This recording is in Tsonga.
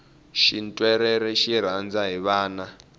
xintwerere xi rhandza hi vana